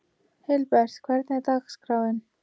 Hilbert, hvernig er dagskráin?